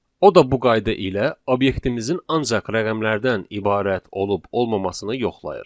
O da bu qayda ilə obyektimizin ancaq rəqəmlərdən ibarət olub-olmamasını yoxlayır.